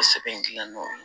O sɛbɛn in dilanen don